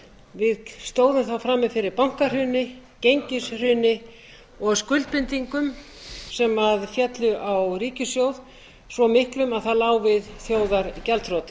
við stóðum þá frammi fyrir bankahruni gengishruni og skuldbindingum sem féllu á ríkissjóð svo miklum að það lá við þjóðargjaldþroti